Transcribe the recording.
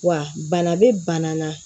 Wa bana bɛ bana na